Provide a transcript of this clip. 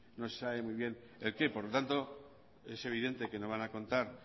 no sé sabe muy bien el qué por lo tanto es evidente que no van a contar